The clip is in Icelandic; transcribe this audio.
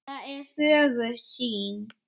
Það er fögur sýn.